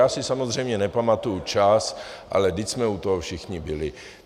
Já si samozřejmě nepamatuji čas, ale vždyť jsme u toho všichni byli.